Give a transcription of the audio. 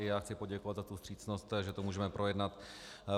I já chci poděkovat za tu vstřícnost, že to můžeme projednat.